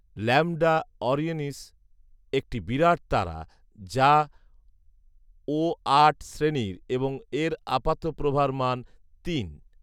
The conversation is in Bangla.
ল্যাম্বডা অরিয়নিস একটি বিরাট তারা যা ও আট শ্রেণীর এবং এর আপাত প্রভার মান তিন